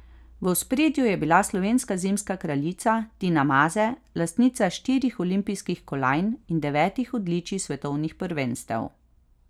V ospredju je bila slovenska zimska kraljica Tina Maze, lastnica štirih olimpijskih kolajn in devetih odličij s svetovnih prvenstev.